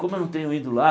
Como eu não tenho ido lá?